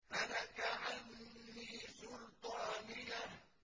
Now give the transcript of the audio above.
هَلَكَ عَنِّي سُلْطَانِيَهْ